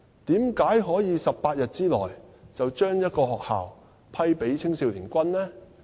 為何可以在18天內便把一間學校批給青少年軍呢？